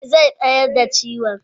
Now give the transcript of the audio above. e, zai tsayar da ciwon.